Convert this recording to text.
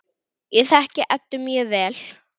Ég þekki Eddu mjög vel.